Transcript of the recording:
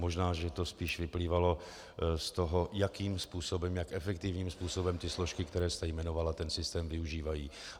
Možná že to spíš vyplývalo z toho, jakým způsobem, jak efektivním způsobem ty složky, které jste jmenovala, ten systém využívají.